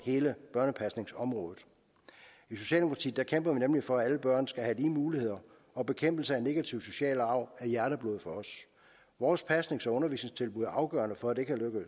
hele børnepasningsområdet i socialdemokratiet kæmper vi nemlig for at alle børn skal have lige muligheder og bekæmpelse af negativ social arv er hjerteblod for os vores pasnings og undervisningstilbud er afgørende for at det kan